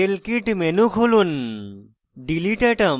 এখন model kit menu খুলুন